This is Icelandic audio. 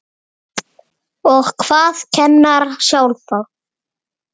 Og hvað kennara sjálfa?